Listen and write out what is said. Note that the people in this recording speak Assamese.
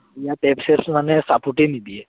ইয়াত apps চেপচ মানে support এ নিদিয়ে।